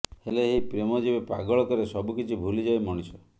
ହେଲେ ଏହି ପ୍ରେମ ଯେବେ ପାଗଳ କରେ ସବୁକିଛି ଭୁଲି ଯାଏ ମଣିଷ